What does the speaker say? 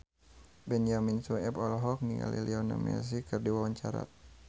Benyamin Sueb olohok ningali Lionel Messi keur diwawancara